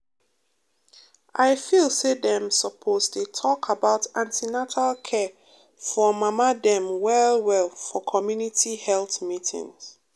i feel say dem suppose dey talk about an ten atal care for mama dem well well for community health meeting.